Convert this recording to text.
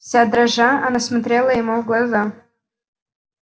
вся дрожа она смотрела ему в глаза